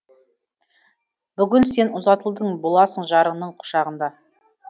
бүгін сен ұзатылдың боласың жарыңның құшағында